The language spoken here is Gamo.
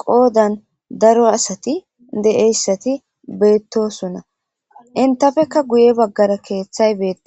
qoodan daro asati de7eyssati beettosunna intafeka guye baggara keeththay bee'a.